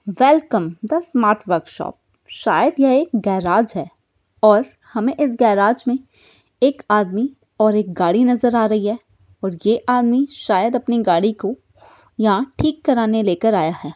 Welcome the smart workshop शायद यह एक गैराज है और हमें इस गैराज में एक आदमी और एक गाड़ी नजर आ रही है और ये आदमी शायद अपनी गाड़ी को यहाँ ठीक कराने लेकर आया है।